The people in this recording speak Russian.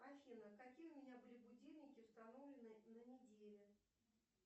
афина какие у меня были будильники установлены на неделе